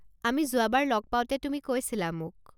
আমি যোৱাবাৰ লগ পাওঁতে তুমি কৈছিলা মোক।